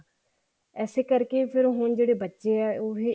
ਇਸੇ ਕਰਕੇ ਹੁਣ ਜਿਹੜੇ ਬੱਚੇ ਆ